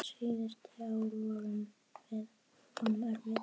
Síðustu ár voru honum erfið.